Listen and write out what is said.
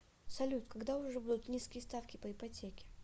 салют когда уже будут низкие ставки по ипотеке